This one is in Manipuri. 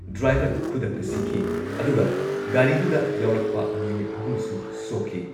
ꯗ꯭ꯔꯥꯏꯚꯔ ꯈꯨꯗꯛꯇ ꯁꯤꯈꯤ ꯑꯗꯨꯒ ꯒꯥꯔꯤꯗꯨꯗ ꯌꯥꯎꯔꯛꯄ ꯃꯤꯑꯣꯏ ꯑꯍꯨꯝꯁꯨ ꯁꯣꯛꯈꯤ